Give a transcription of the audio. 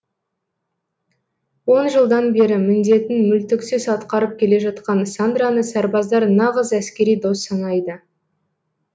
он жылдан бері міндетін мүлтіксіз атқарып келе жатқан сандраны сарбаздар нағыз әскери дос санайды